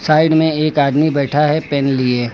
Side में एक आदमी बैठा है पेन लिए।